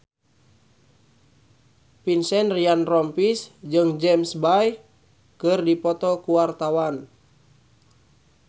Vincent Ryan Rompies jeung James Bay keur dipoto ku wartawan